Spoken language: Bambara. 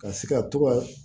Ka se ka to ka